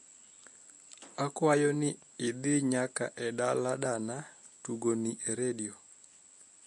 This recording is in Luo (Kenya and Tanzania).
akwayo niidhi nyaka e danaadana tugoni e redio